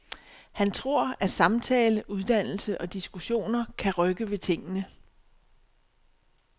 Han tror, at samtale, uddannelse og diskussioner kan rykke ved tingene.